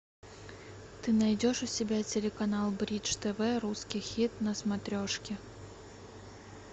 ты найдешь у себя телеканал бридж тв русский хит на смотрешке